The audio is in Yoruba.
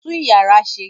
Tú ìyàrá ṣe!